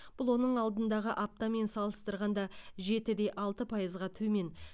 бұл оның алдындағы аптамен салыстырғанда жетіде алты пайыз төмен